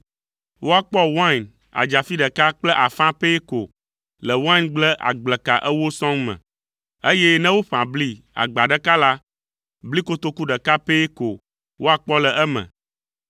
Woakpɔ wain adzafi ɖeka kple afã pɛ ko le waingble agbleka ewo sɔŋ me, eye ne woƒã bli agba ɖeka la, bli kotoku ɖeka pɛ ko woakpɔ le eme.”